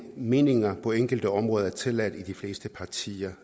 meninger på enkelte områder er tilladt i de fleste partier